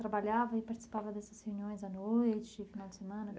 Trabalhava e participava dessas reuniões à noite, final de semana?